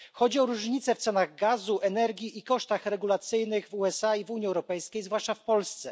Chodzi o różnice w cenach gazu, energii i kosztach regulacyjnych w USA i w Unii Europejskiej zwłaszcza w Polsce.